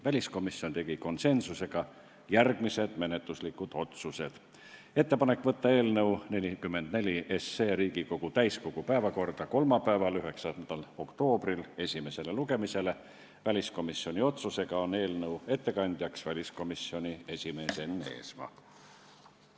Väliskomisjon tegi konsensuslikult järgmised menetluslikud otsused: on ettepanek saata eelnõu 44 Riigikogu täiskogu päevakorda kolmapäevaks, 9. oktoobriks esimesele lugemisele ja väliskomisjoni otsusega on eelnõu ettekandja väliskomisjoni esimees Enn Eesmaa.